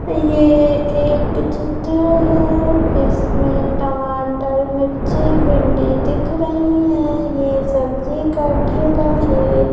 येह एक चित्र है इसमें टमाटर मिर्ची भिंडी दिख रही है ये सब्जी का ठेला है।